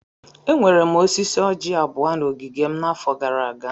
Enwere m osisi orji abụọ na ogige m n'afọ gara aga.